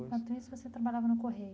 Enquanto isso, você trabalhava no Correio?